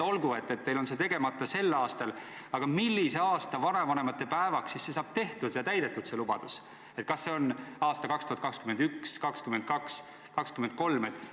Olgu, teil on see tegemata sel aastal, aga millise aasta vanavanemate päevaks siis saab täidetud see lubadus, kas see on aasta 2021, 2022 või 2023?